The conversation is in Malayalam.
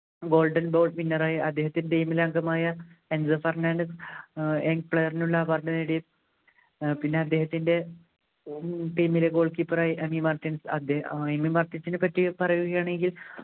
golden ball winner ആയി അദ്ദേഹത്തിൻ്റെ team അംഗമായ ഫെർണാണ്ടസ് ഏർ player നുള്ള award നേടി ഏർ പിന്നെ അദ്ദേഹത്തിൻ്റെ team ലെ goal keeper ആയി അദ്ദേ നെപ്പറ്റി പറയുകയാണെങ്കിൽ